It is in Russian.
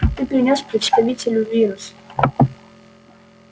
ты принёс представителю вирус